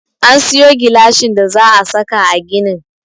An sayo gilashin da za a saka a ginin.